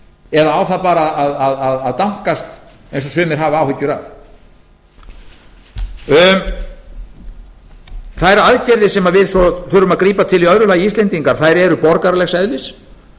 eða á það bara að dankast eins og sumir hafa áhyggjur af þær aðgerðir sem við svo þurfum að grípa til í öðru lagi íslendingar eru borgaralegs eðlis